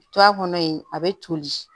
To a kɔnɔ yen a bɛ toli